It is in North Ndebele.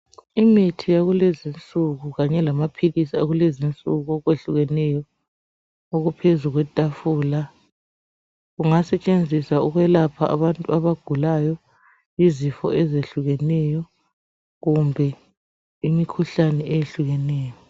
Imithi yakulezinsuku kanye lamaphilisi akulezinsuku okwehlukeneyo okuphezukwetafula . Kungasetshenziswa ukwelapha abantu abagulayo izifo ezehlukeneyo kumbe imikhuhlane eyehlukeneyo.